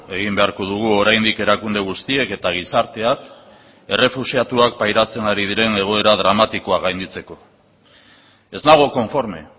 egin beharko dugu oraindik erakunde guztiek eta gizarteak errefuxiatuak pairatzen ari diren egoera dramatikoa gainditzeko ez nago konforme